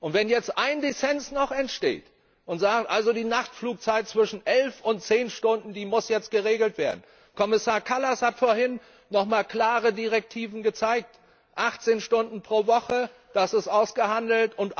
Wenn jetzt ein Dissens noch entsteht und wir sagen, die Nachflugzeit zwischen elf und zehn Stunden muss jetzt geregelt werden Kommissar Kallas hat vorhin nochmal klare Direktiven gezeigt 18 Stunden pro Woche, das ist ausgehandelt.